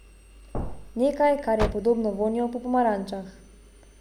Nekaj, kar je podobno vonju po pomarančah.